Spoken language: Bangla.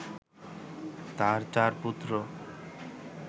তার চার পুত্র